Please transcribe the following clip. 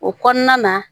O kɔnɔna na